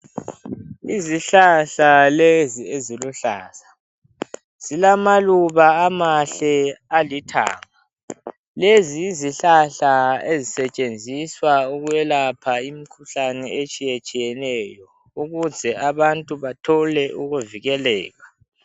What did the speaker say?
Izihlahla lezi eziluhlaza, zilamaluba amahle alithanga, lezi yizihlahla ezisetshenziswa ukwelapha imikhuhlane etshiyetshiyeneyo ukuze abantu bathole ukuvikeleka.